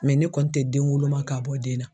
ne kɔni tɛ den woloma ka bɔ den na